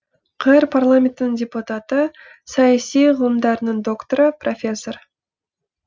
қр парламентінің депутаты саяси ғылымдарының докторы профессор